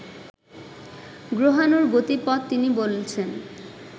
গ্রহাণুর গতিপথ তিনি বলছেন